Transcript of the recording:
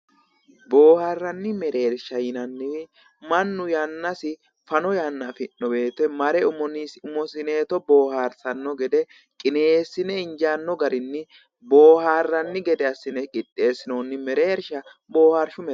Booharanni mereersha yinanniri mannu yannasi fano yanna affinno woyte mare umosineeto booharisano gede qineessine injaano garini booharanni gede asinne qixeesinoonni mereersha boohaarishu mereersha yine woshinayi